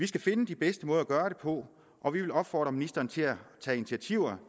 skal finde de bedste måder at gøre det på og vi vil opfordre ministeren til at tage initiativ